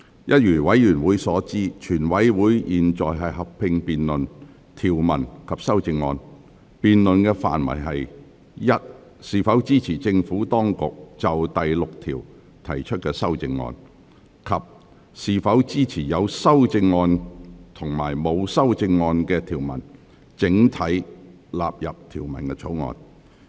一如委員所知，全體委員會現在合併辯論條文及修正案，辯論的範圍是：是否支持政府當局就第6條提出的修正案；及是否支持有修正案及沒有修正案的條文整體納入《條例草案》。